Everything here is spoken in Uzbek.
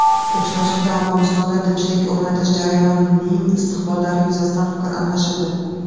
Uchrashuvda Afg‘onistonda tinchlik o‘rnatish jarayonining istiqbollari yuzasidan fikr almashildi.